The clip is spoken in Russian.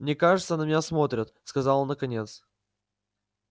мне кажется на меня смотрят сказал он наконец